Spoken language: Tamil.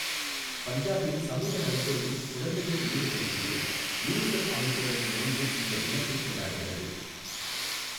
பஞ்சாபில் சமூக நலத்துறையின் குழந்தைகள் உரிமைகள் பிரிவு, யுனிசெஃப் அமைப்புடன் இணைந்து இந்த தினத்தைக் கொண்டாடுகிறது.